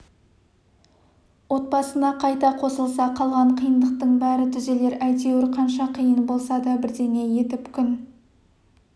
отбасына қайта қосылса қалған қиындықтың бәрі түзелер әйтеуір қанша қиын болса да бірдеңе етіп күн